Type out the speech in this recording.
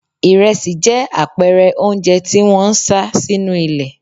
Ìrẹsì jẹ́ àpẹẹrẹ oúnjẹ tí wón ń sá sínú ilé.